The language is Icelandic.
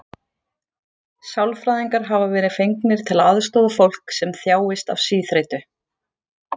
Sálfræðingar hafa verið fengnir til að aðstoða fólk sem þjáist af síþreytu.